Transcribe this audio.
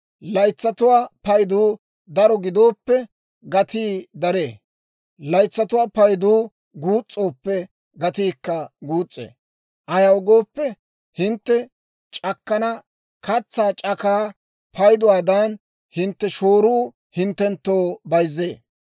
Laytsatuwaa paydu daro gidooppe, gatii daree; laytsatuwaa payduu guus's'ooppe, gatiikka guus's'ee. Ayaw gooppe, hintte c'akkana katsaa c'akaa payduwaadan hintte shooruu hinttenttoo zal''ee.